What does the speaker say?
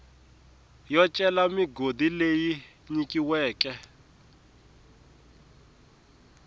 yo cela migodi leyi nyikiweke